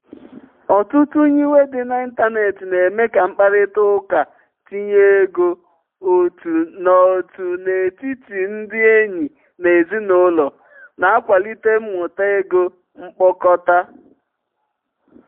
ọtụtụ nyiwe dị n'ịntanetị na-eme ka mkparịta ụka ntinye ego otu n'otu n'etiti ndị enyi na ezinụlọ na-akwalite mmuta ego mkpokọta.